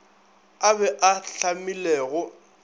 a be a a hlamilwego